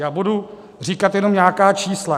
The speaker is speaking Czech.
Já budu říkat jenom nějaká čísla.